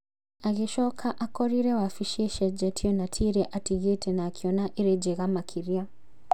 Agĩcoka, akorire wabici icenjetio na tiĩrĩa atigĩte na akĩona ĩrĩ njega makĩria